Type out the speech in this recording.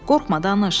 Qorxma danış.